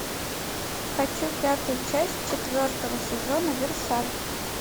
хочу пятую часть четвертого сезона версаль